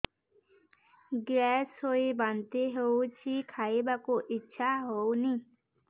gas ହୋଇ ବାନ୍ତି ହଉଛି ଖାଇବାକୁ ଇଚ୍ଛା ହଉନି